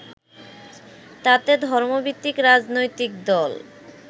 তাতে ধর্মভিত্তিক রাজনৈতিক দল